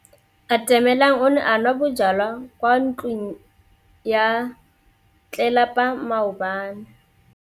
Atamelang o ne a nwa bojwala kwa ntlong ya tlelapa maobane.